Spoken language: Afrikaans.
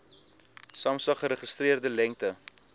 samsa geregistreerde lengte